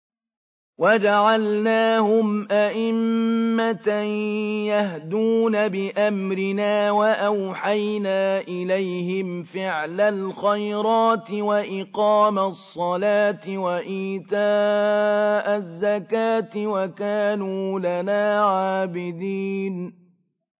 وَجَعَلْنَاهُمْ أَئِمَّةً يَهْدُونَ بِأَمْرِنَا وَأَوْحَيْنَا إِلَيْهِمْ فِعْلَ الْخَيْرَاتِ وَإِقَامَ الصَّلَاةِ وَإِيتَاءَ الزَّكَاةِ ۖ وَكَانُوا لَنَا عَابِدِينَ